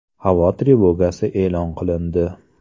Havo trevogasi e’lon qilindi.